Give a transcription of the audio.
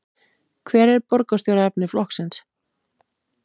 Hver er borgarstjóraefni flokksins?